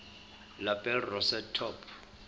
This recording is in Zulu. lapel rosette top